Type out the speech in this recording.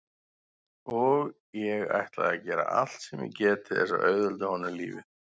Og ég ætla að gera allt sem ég get til þess að auðvelda honum lífið.